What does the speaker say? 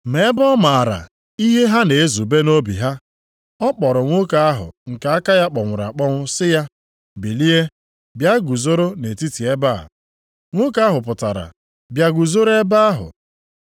Ma ebe ọ maara ihe ha na-ezube nʼobi ha, ọ kpọrọ nwoke ahụ nke aka ya kpọnwụrụ akpọnwụ sị ya, “Bilie bịa guzoro nʼetiti ebe a.” Nwoke ahụ pụtara bịa guzoro ebe ahụ.